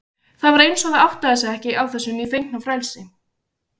Það var eins og það áttaði sig ekki á þessu nýfengna frelsi.